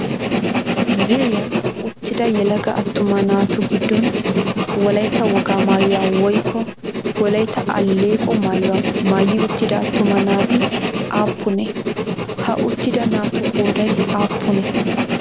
Ziiriyan uttida yelaga attuma naatu giddon Wolayitta wogaa maayuwaa woykko Wolayitta alleeqo maayuwaa maayi uttida attuma naati aappunee? Ha uttida naatu qoodayi aappunee?